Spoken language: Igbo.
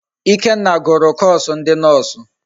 Ikenna gụrụ koosu ndi noosụ.